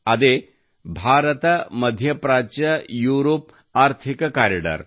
ಅದೇ ಭಾರತಮಧ್ಯಪ್ರಾಚ್ಯಯುರೋಪ್ ಆರ್ಥಿಕ ಕಾರಿಡಾರ್